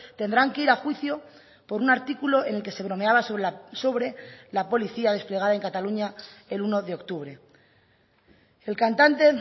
tendrán que ir a juicio por un artículo en el que se bromeaba sobre la policía desplegada en cataluña el uno de octubre el cantante